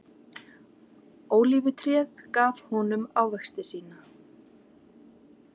Ólífutréð gaf honum ávexti sína.